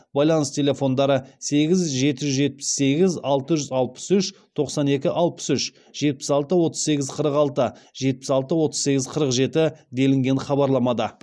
байланыс телефондары сегіз жеті жүз жетпіс сегіз алты жүз алпыс үш тоқсан екі алпыс үш жетпіс алты отыз сегіз қырық алты жетпіс алты отыз сегіз қырық жеті делінген хабарламада